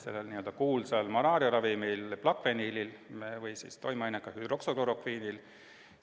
See põhines kuulsal malaariaravimil Plaquenilil, selle toimeainel hüdroksüklorokviinil.